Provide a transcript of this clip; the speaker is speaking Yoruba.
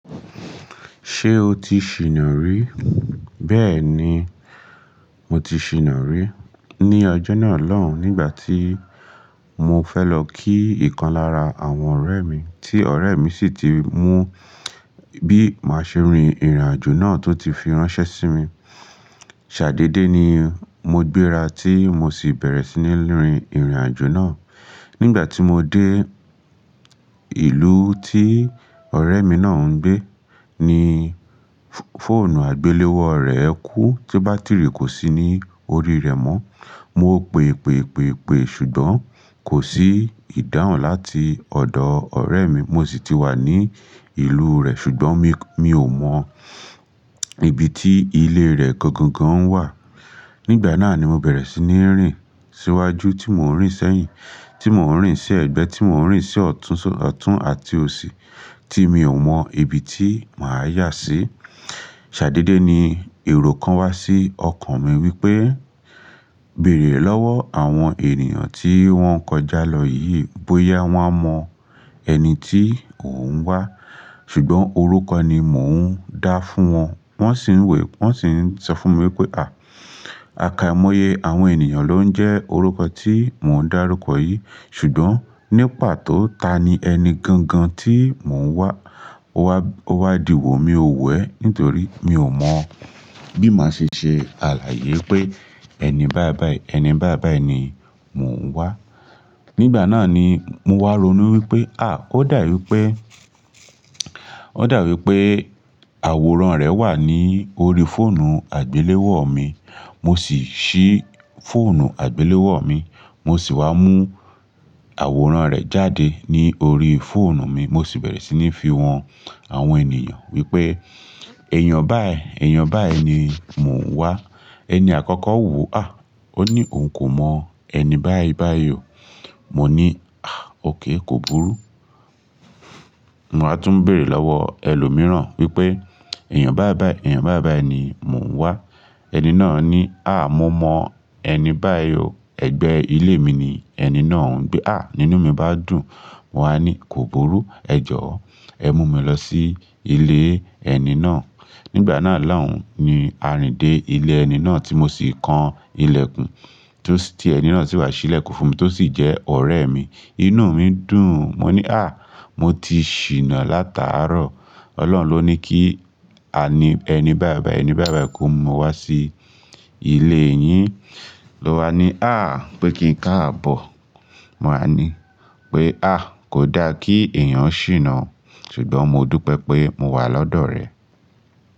Ṣé o ti ṣìnà rí? Bẹ́ẹ̀ ni, mo ti ṣìnà rí. Ni ọjọ́ náà lọ́hùn, nígbà tí mo fẹ́ lọ kí ìkan lára àwọn ọ̀rẹ́ mi tí ọ̀rẹ́ mi sì ti mú bí màá ṣe rin ìrìnàjò náà tó ti fi ránṣẹ́ sí mi. Sadé dé ni mo gbéra tí mo sì bẹ̀rẹ̀ sí ní rin ìrìnàjò náà. Nígbà tí mo dé ìlú tí ọ̀rẹ́ mi náà ń gbé, ní fóònù àgbéléwò rẹ́ kú tí bátìrì kò sí ní orí rẹ̀ mọ́. Mo pe, pe, pe, pe ṣùgbọ́n kò sí ìdáhùn láti ọ̀dọ̀ ọ̀rẹ́ mi. Mo sì ti wà ní ìlú rẹ̀ ṣùgbọ́n mi, mi ò mọ ibi tí ilé rẹ̀ gangan wà. Nígbà náà ni mo bẹ̀rẹ̀ sí ní rìn síwájú tí mò ń rìn sẹ́yìn, tí mò ń rìn sí ẹ̀gbẹ́, tí mò ń rìn sí ọ̀tún, ọ̀tún àti òsì tí mi ò mọ ibi tí màá yà sí. Sadé dé ní èrò kan wá sí ọkàn mi wípé, "Bẹ̀rẹ̀ lọ́wọ́ àwọn ènìyàn tí wón ń kọjá lọ yìí bóyá wón a mọ ẹni tí ò ń wá." Ṣùgbọ́n orúkọ ni mò ń dá fún wọn, wón sì ń wẹ̀, wón sì ń sọ fún mi pé, "À! Akọímọye àwọn ènìyàn ló ń jẹ́ orúkọ tí mò ń dárúkọ yìí." Ṣùgbọ́n ní pàtó ta ni ẹni gangan tí mò ń wá, ó wá, ó wá dìwọ́ mi ò wẹ̀ nítorí mi ò mọ bí màá ṣe ṣe àlàyé pé ẹni báì báì, ẹni báì báì ni mò ń wá. Nígbà náà ni mo wá ronú wípé à! Ó dàwípé, ó dàwípé àwòrán rẹ̀ wà ní orí fóònù àgbéléwò mi. Mo sì ṣí fóònù àgbéléwò mi, mo sì wá mú àwòrán rẹ̀ jáde ní orí fóònù mi. Mo sì bẹ̀rẹ̀ sí ní fi wọn àwọn ènìyàn wípé èèyàn báì, èèyàn báì ni mò ń wá. Ẹni àkọ́kọ́ wo, à! Ó ní òun kò mọ ẹni báì báì o. Mo ní, à! Ók kò burú. Mo á tún bèrẹ̀ lọ́wọ́ ẹlòmíràn wípé èèyàn báì báì, èèyàn báì báì ni mò ń wá. Ẹni náà ní, à! Mo mọ ẹni báì o. Ẹgbẹ́ ilé mi ni ẹni náà ń gbé. À! Nínú mi bá dùn, mo wá ní kò burú, ẹ jọ̀ọ́, ẹ mú mi lọ sí ilé ẹni náà. Nígbà náà lọ́hùn ni a rìn dé ilé ẹni náà tí mo sì kan ilẹ̀kùn tí ó sì, tí ẹni náà sì wá ṣí ilẹ̀kùn fún mi tó sì jẹ́ ọ̀rẹ́ mi. Inú mi dùn. Mo ní à! Mo ti ṣìnà látàárọ̀. Ọlọ́run ló ní kí a ní, ẹni báì báì, ẹni báì báì kó mú wa sí ilé yín. Lo wá ní à! Pé kí n káàbọ̀. Mo wá ní pé à! Kò da kí èèyàn ṣìnà ṣùgbọ́n mo dúpẹ́ pé mo wà lọ́dọ̀ rẹ.